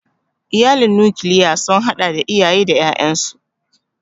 Iyalin nokilya sun hada da iyaye da ƴaƴansu.